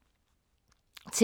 TV 2